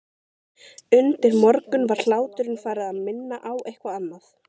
Undir morgun var hláturinn farinn að minna á eitthvað annað.